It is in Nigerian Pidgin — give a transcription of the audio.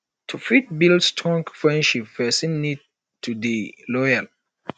to fit build strong friendships person need to dey loyal